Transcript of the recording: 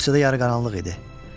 Bağçada yarı qaranlıq idi.